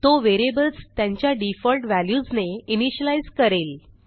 तो व्हेरिएबल्स त्यांच्या डिफॉल्ट व्हॅल्यूजने इनिशियलाईज करेल